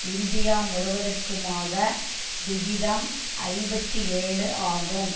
India முழுவதற்குமாக விகிதம் ஐம்பத்தி ஏழு ஆகும்